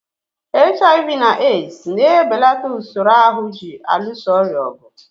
HIV na AIDS na-ebelata usoro ahụ ji alụso ọrịa ọgụ.